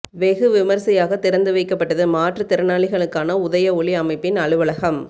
வெகு விமர்சையாக திறந்து வைக்கப்பட்டது மாற்றுத்திறனாளிகளுக்கான உதய ஒளி அமைப்பின் அலுவலகம்